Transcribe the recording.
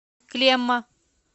клемма